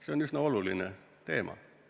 See on üsna oluline teema.